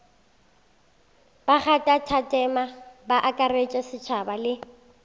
bakgathatema ba akaretša setšhaba le